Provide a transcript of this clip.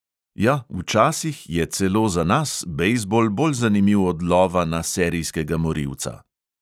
Ja, včasih je celo za nas bejzbol bolj zanimiv od lova na serijskega morilca.